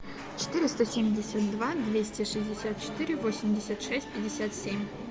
четыреста семьдесят два двести шестьдесят четыре восемьдесят шесть пятьдесят семь